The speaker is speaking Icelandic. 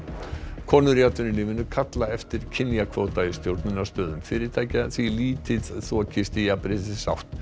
konur í atvinnulífinu kalla eftir kynjakvóta í stjórnunarstöðum fyrirtækja því lítið þokast í jafnréttisátt